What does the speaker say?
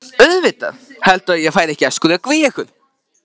Auðvitað, heldurðu að ég færi að skrökva í ykkur?